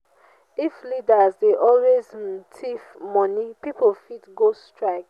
if leaders dey always um thief money pipo fit go strike.